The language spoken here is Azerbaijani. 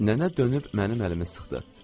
Nənə dönüb mənim əlimi sıxdı.